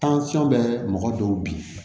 bɛ mɔgɔ dɔw bin